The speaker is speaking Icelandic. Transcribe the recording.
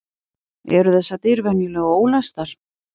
Eru þessar dyr venjulega ólæstar?